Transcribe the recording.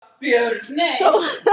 Enn skotið á mótmælendur úr lofti